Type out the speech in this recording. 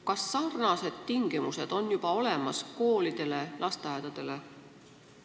Kas samasugused tingimused kehtivad ka koolidele ja lasteaedadele?